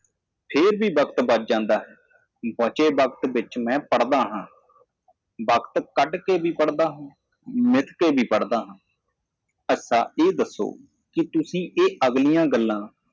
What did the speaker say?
ਫਿਰ ਉਡੀਕ ਸਮਾਂ ਬਚ ਜਾਂਦਾ ਹੈ ਮੇਰੇ ਬਾਕੀ ਦੇ ਸਮੇਂ ਵਿੱਚ ਮੈਂ ਪੜ੍ਹਾਈ ਮੈਂ ਆਪਣੇ ਖਾਲੀ ਸਮੇਂ ਵਿੱਚ ਪੜ੍ਹਦਾ ਹਾਂ ਮੈਂ ਵੀ ਇਸ ਤਰ੍ਹਾਂ ਪੜ੍ਹਦਾ ਹਾਂ ਠੀਕ ਹੈ ਮੈਨੂੰ ਦੱਸੋ ਤੁਸੀਂ ਕਿਸ ਬਾਰੇ ਗੱਲ ਕਰ ਰਹੇ ਹੋ